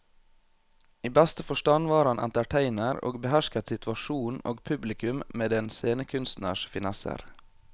I beste forstand var han entertainer og behersket situasjonen og publikum med en scenekunstners finesser.